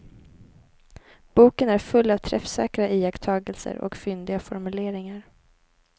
Boken är full av träffsäkra iakttagelser och fyndiga formuleringar.